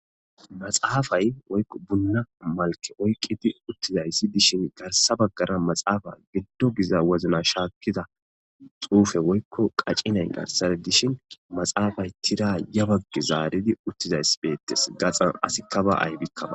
Maxaafay yobunna malke oyqqidi uttizayssi dishin garsa baggara maxaafa giddo giza wozna shaakkida xuufe woykko qacinayn garsara dishin maxaafay tira yabaggi zaaridi uttizays beettes gaxan asikka ba aybikkama